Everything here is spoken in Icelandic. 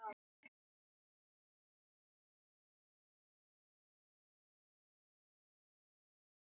Þannig tekur kolsýrlingur þau sæti sem súrefninu eru ætluð.